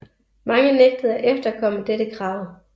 Mange nægtede at efterkomme dette krav